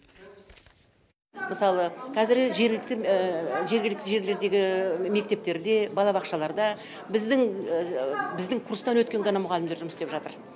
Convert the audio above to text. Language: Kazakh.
мысалы қазіргі жергілікті жерлердегі мектептерде балабақшаларда біздің біздің курстан өткен ғана мұғалімдер жұмыс істеп жатыр